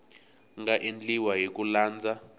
nga endliwa hi ku landza